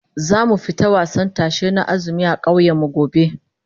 Zamu fita wasan tashe na azumi a kauyen mu gobe